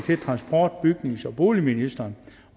transport bygnings og boligministeren